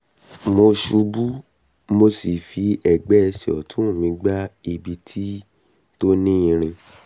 mo ṣubú mo sì fi ẹgbẹ́ ẹsẹ̀ ọ̀tún mi gbá ibi tó ní irin